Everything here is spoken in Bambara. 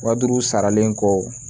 Wa duuru saralen kɔ